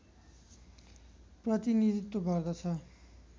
प्रतिनीधित्व गर्दछ